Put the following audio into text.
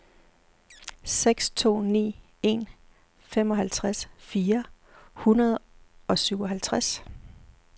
seks to ni en femoghalvtreds fire hundrede og syvoghalvtreds